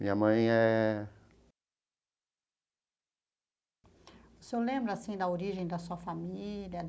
Minha mãe é... O senhor lembra, assim, da origem da sua família?